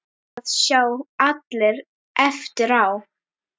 Það sjá allir eftir á.